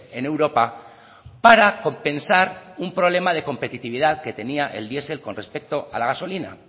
en europa para compensar un problema de competitividad que tenía el diesel con respecto a la gasolina